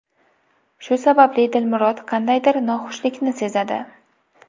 Shu sababli Dilmurod qandaydir noxushlikni sezadi.